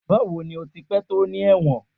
Bawo ni o ti pẹ to ni ẹwọn?